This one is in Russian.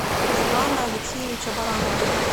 руслана алексеевича баранова